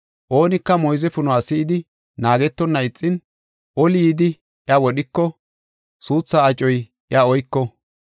Oonika moyze punuwa si7idi, naagetonna ixin, oli yidi iya wodhiko, suuthaa acoy iya oyko.